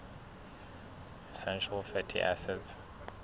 essential fatty acids